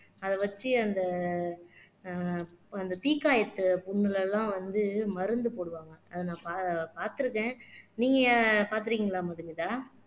அதை வச்சு அந்த ஆஹ் அந்த தீக்காயத்தை புண்ணுல எல்லாம் வந்து மருந்து போடுவாங்க அதை நான் பா பார்த்திருக்கேன் நீங்க பார்த்திருக்கீங்களா மதுமிதா